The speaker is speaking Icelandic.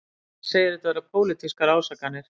Hann segir þetta vera pólitískar ásakanir